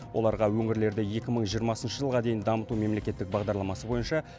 оларға өңірлерді екі мың жиырмасыншы жылға дейін дамыту мемлекеттік бағдарламасы бойынша